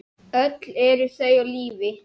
Öll eru þau á lífi.